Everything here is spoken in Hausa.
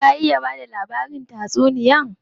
Ka iya bada labarin tatsuniya?